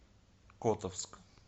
котовск